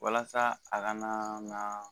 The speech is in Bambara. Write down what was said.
Walasa a kanaaa